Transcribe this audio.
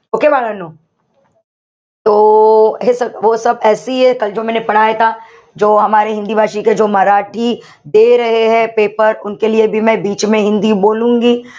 Okay बाळांनो? paper